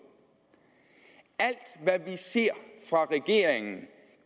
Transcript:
alt hvad vi ser fra regeringen